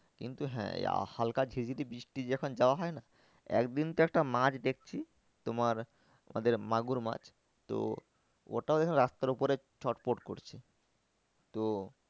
কিন্তু হ্যাঁ হালকা ঝিরি ঝিরি বৃষ্টি যখন যাওয়া হয় না। একদিন তো একটা মাছ দেখছি তোমার আমাদের মাগুর মাছ তো ওটা ওই ভাবে রাস্তার ওপরে ছোটপট করছে তো